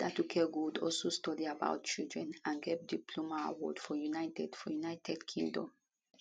late aduke gold also study about children and gbab diploma award for united for united kingdom